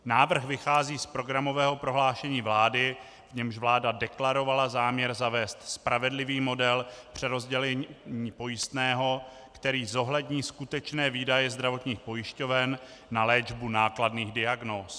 Návrh vychází z programového prohlášení vlády, v němž vláda deklarovala záměr zavést spravedlivý model přerozdělení pojistného, který zohlední skutečné výdaje zdravotních pojišťoven na léčbu nákladných diagnóz.